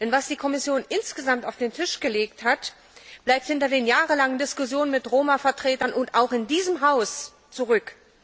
Denn was die Kommission insgesamt auf den Tisch gelegt hat, bleibt hinter den jahrelangen Diskussionen mit Roma Vertretern, auch in diesem Haus, zurück.